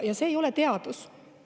Ja see ei ole teadus.